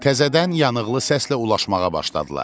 Təzədən yanıqlı səslə ulaşımağa başladılar.